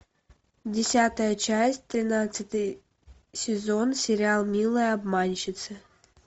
десятая часть тринадцатый сезон сериал милые обманщицы